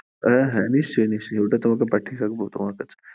হ্যাঁ হ্যাঁ নিশ্চই নিশ্চই ওটা তোমাকে পাঠিয়ে দেব, তোমার কাছে।